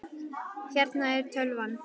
Hérna er tölvan.